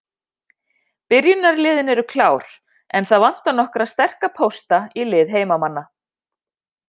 Byrjunarliðin eru klár, en það vantar nokkra sterka pósta í lið heimamanna.